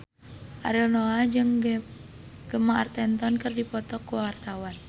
Ariel Noah jeung Gemma Arterton keur dipoto ku wartawan